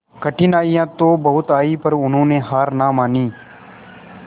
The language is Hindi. कठिनाइयां तो बहुत आई पर उन्होंने हार ना मानी